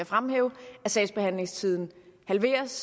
fremhæve at sagsbehandlingstiden halveres